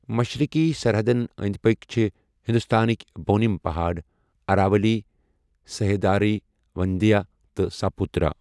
مشرقی سرحدَن أنٛدۍ پٔکھۍ چھِ ہندوستانٕکۍ بۄنِم پہاڑَ، اراولی، سہیادری، وندھیا تہٕ ساپوترا۔